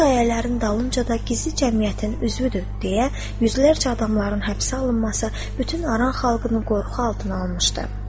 Bu şayələrin dalınca da gizli cəmiyyətin üzvüdür, deyə yüzlərcə adamların həbsə alınması bütün Aran xalqını qorxu altına almışdı.